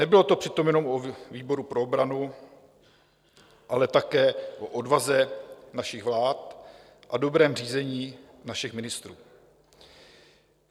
Nebylo to přitom jenom o výboru pro obranu, ale také o odvaze našich vlád a dobrém řízení našich ministrů.